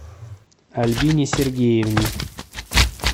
альбине сергеевне